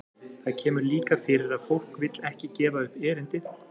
Það kemur líka fyrir að fólk vill ekki gefa upp erindið.